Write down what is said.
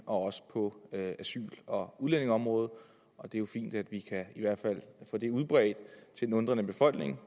og også på asyl og udlændingeområdet det er jo fint at vi i hvert fald kan få det udbredt til den undrende befolkning